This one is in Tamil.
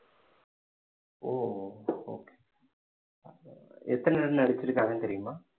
ஓ okay எத்தனை run அடிச்சிருக்காங்கன்னு தெரியுமா